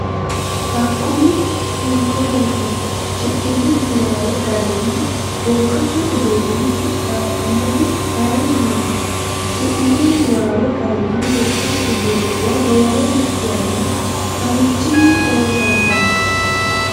Hakkuri hiikkoreeti? Shiqqino niwaawe garinni wogate uduunni qixxaawannohu ayeenni- iti? Shiqqino niwaawe garinni wogate uduunnuwa roore yanna marichin- ni loosantanno?